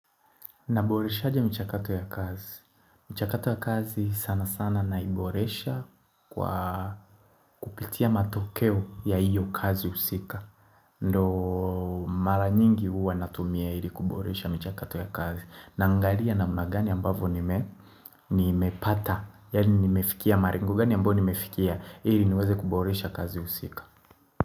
Naboreshaje mchakato ya kazi? Mchakato ya kazi sana sana naiboresha kwa kupitia matokeo ya hiyo kazi husika Ndio mara nyingi huwa natumia ili kuboresha mchakato ya kazi, naangalia namna gani ambavyo nimepata Yaani nimefikia malengo gani ambayo nimefikia, ili niweze kuboresha kazi husika.